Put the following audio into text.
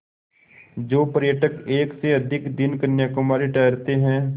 जो पर्यटक एक से अधिक दिन कन्याकुमारी ठहरते हैं